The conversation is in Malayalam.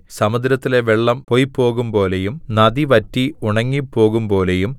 സമുദ്രത്തിലെ വെള്ളം പോയ്പോകുമ്പോലെയും നദി വറ്റി ഉണങ്ങിപ്പോകുമ്പോലെയും